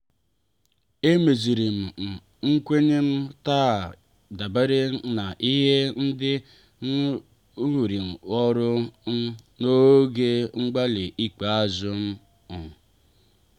e mezirim i um nkwenye m taa dabere na ihe ndị arughirim ọrụ um n'oge mgbali ikpeazụ. um